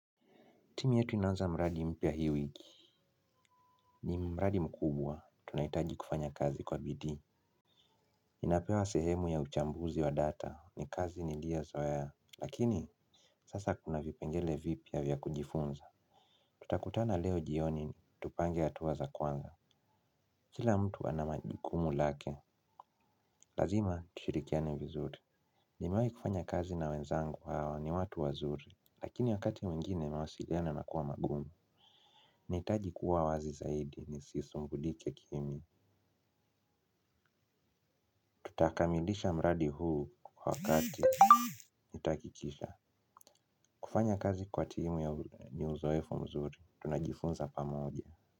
Timu yetu inaanza mradi mpya hii wiki, ni mradi mkubwa, tunahitaji kufanya kazi kwa bidii. Inapewa sehemu ya uchambuzi wa data, ni kazi nilio zoea, lakini sasa kuna vipengele vipya vya kujifunza. Tutakutana leo jioni, tupange hatuwa za kwanza. Kila mtu ana majikumu lake, lazima tushirikiane vizuri. Nimewahi kufanya kazi na wenzangu aa ni watu wazuri, lakini wakati mwingine mawasiliano yanakuwa magumu. Nahitaji kuwa wazi zaidi ni sisi sumbulike kimi. Tutakamilisha mradi huu kwa wakati. Nitahakikisha, kufanya kazi kwa timu ya uzoefu mzuri tunajifunza pamoja.